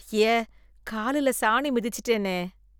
ஐய! காலுல சாணி மிச்சிட்டேனே